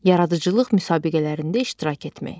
Yaradıcılıq müsabiqələrində iştirak etmək.